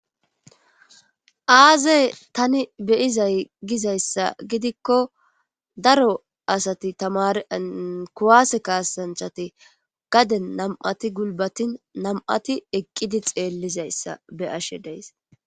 Aazey tani beyizay gizayssa gidikko daro asati tamarian kuwaase kaasanchati gaden nam'ati gulbatin nam'ati eqqidi xeellizayssa be ashe deys.